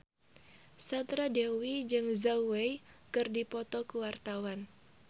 Sandra Dewi jeung Zhao Wei keur dipoto ku wartawan